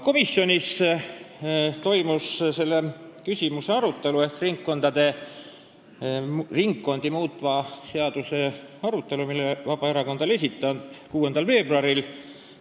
Komisjonis toimus selle küsimuse ehk ringkondi muutva seaduseelnõu arutelu, mille Vabaerakond oli esitanud, 6. veebruaril.